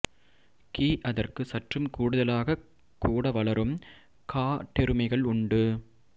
கி அதற்கு சற்றும் கூடுதலாகக் கூட வளரும் காட்டெருமைகள் உண்டு